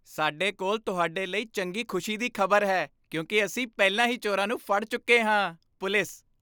ਸਾਡੇ ਕੋਲ ਤੁਹਾਡੇ ਲਈ ਚੰਗੀ ਖੁਸ਼ੀ ਦੀ ਖ਼ਬਰ ਹੈ ਕਿਉਂਕਿ ਅਸੀਂ ਪਹਿਲਾਂ ਹੀ ਚੋਰਾਂ ਨੂੰ ਫੜ ਚੁੱਕੇ ਹਾਂ ਪੁਲਿਸ